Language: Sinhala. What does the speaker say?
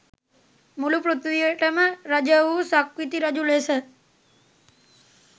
මුළු පෘථිවියටම රජ වූ සක්විති රජු ලෙස